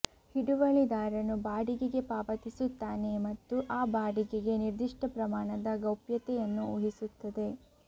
ಹಿಡುವಳಿದಾರನು ಬಾಡಿಗೆಗೆ ಪಾವತಿಸುತ್ತಾನೆ ಮತ್ತು ಆ ಬಾಡಿಗೆಗೆ ನಿರ್ದಿಷ್ಟ ಪ್ರಮಾಣದ ಗೌಪ್ಯತೆಯನ್ನು ಊಹಿಸುತ್ತದೆ